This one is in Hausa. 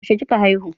Yaushe kika haihu?